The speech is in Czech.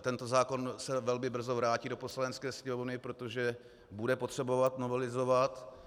tento zákon se velmi brzo vrátí do Poslanecké sněmovny, protože bude potřebovat novelizovat.